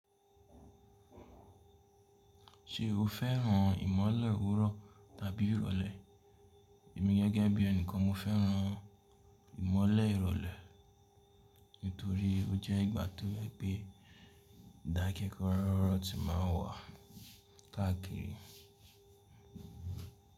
Ṣé o fẹ́ràn ìmọ́lẹ̀ òwúrọ̀ tàbí ìrọ̀lẹ́? Èmi gẹ́gẹ́ bí ẹni kan mo fẹ́ran ìmọ́lẹ̀ ìrọ̀lẹ́ nítorí ó jẹ́ ìgbà tó je pé ìdákẹ́kọ̀ró ti máa n wà káàkiri.